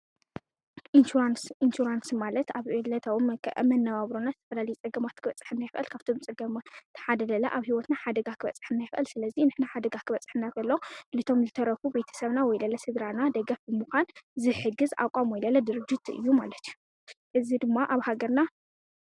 ኢንሹራንስ-ኢንሹራንስ ማለት ኣብ ዕለታዊ ኣብ መነባብሮና ዝተፈላለዩ ፀገማት ክብጽሐና ይኽእል፡፡ ካብቶም ፀገማት እቲ ሓደ ለለ ኣብ ሕይወትና ሓደጋ ኽበፅሐና ይኽአል፡፡ ስለዚ ንሕና ሓደጋ ክበፅሐና እንተሎ ነቶም ዝተረፉ ቤተ ሰብና ወይለለ ስድራና ደገፍ ብምዃን ዝሕግዝ ተቛም ወይለለ ድርጅት እዩ ማለት እዩ፡፡ እዚ ድማ ኣብ ሃገርና